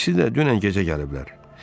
İkisi də dünən gecə gəliblər.